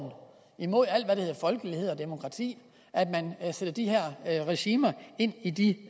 mod alt hvad der hedder folkelighed og demokrati at man får de her regimer ind i de